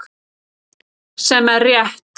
Sem er rétt.